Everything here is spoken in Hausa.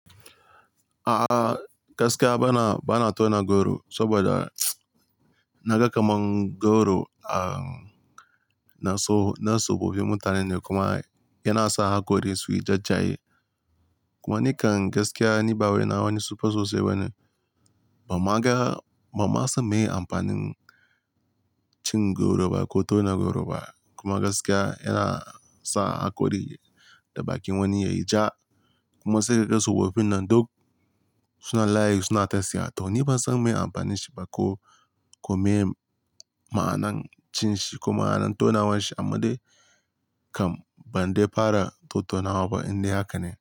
A'a gaskiya bana, bana tauna goro saboda na ga kamar goro a na so na tsofaffin mutane ne kuma yana sa haƙori suyi jajaye. Kuma ni kan gaskiya ni bai nawa ni tsofa sosai bane. Ba ma ga, ba ma san meye amfanin cin goro ba ko tona goro ba. Kuma gaskiya yana sa haƙori da bakin wani yayi ja. Kuma sai ka ga tsofaffin nan duk suna layi suna tasiha. To ni ban san me amfanin shi ba ko, ko me ma'anar cin shi ko ma'anar tonawan shi. Amma dai kam ban dai fara tottau nawa ba inda haka ne.